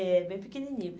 É, bem pequenininho.